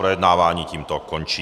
Projednávání tímto končí.